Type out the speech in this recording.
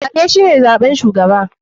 Zaɓe shine zaɓen shugaba.